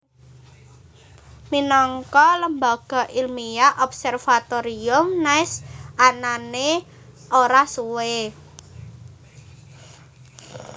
Minangka lembaga ilmiah Observatorium Nice anané ora suwé